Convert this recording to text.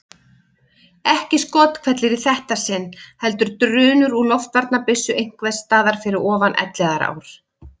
Ekki skothvellir í þetta sinn heldur drunur úr loftvarnabyssu einhvers staðar fyrir ofan Elliðaár.